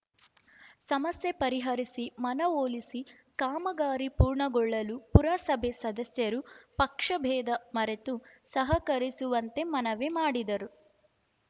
ಸಮಸ್ಯೆ ಪರಿಹರಿಸಿ ಮನವೊಲಿಸಿ ಕಾಮಗಾರಿ ಪೂರ್ಣಗೊಳ್ಳಲು ಪುರಸಭೆ ಸದಸ್ಯರು ಪಕ್ಷಭೇದ ಮರೆತು ಸಹಕರಿಸುವಂತೆ ಮನವಿ ಮಾಡಿದರು